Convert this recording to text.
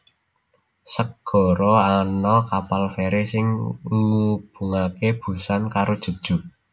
Segara Ana kapal ferry sing ngubungaké Busan karo Jeju